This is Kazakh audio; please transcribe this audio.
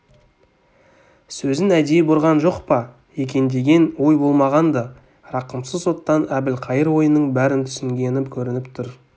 сөзін әдейі бұрған жоқ па екендеген ой болмаған-ды рақымсыз оттан әбілқайыр ойының бәрін түсінгені көрініп тұр